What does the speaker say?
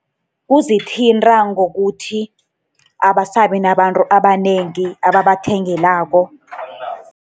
Kuzithinta ngokuthi abasabi nabantu abanengi ababathengelako.